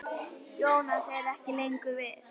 Jónas er ekki lengur við.